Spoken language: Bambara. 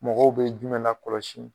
Mɔgɔw bɛ jumɛn na kɔlɔsi